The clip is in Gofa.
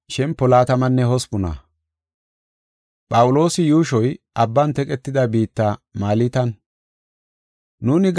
Nuuni gaxa saro keyida wode gakida bessay yuushoy abban teqetida biitta, Malta gideysa erida.